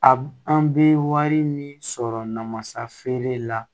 A an bɛ wari min sɔrɔ namasa feere la